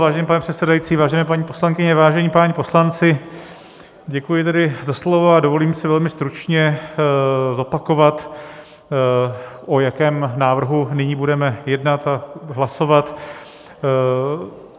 Vážený pane předsedající, vážené paní poslankyně, vážení páni poslanci, děkuji tedy za slovo a dovolím si velmi stručně zopakovat, o jakém návrhu nyní budeme jednat a hlasovat.